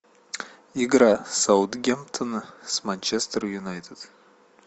игра саутгемптона с манчестер юнайтед